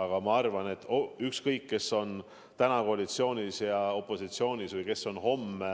Aga ma arvan, et ükskõik, kes on praegu koalitsioonis ja opositsioonis ning kes on homme